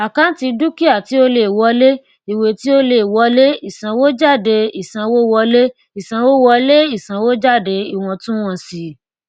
àkántì dúkìá tí ó lè wọlé ìwé tí ó lè wọlé ìsanwójádé ìsanwówọlé ìsanwówọlé ìsanwójáde iwọntúnwọnsì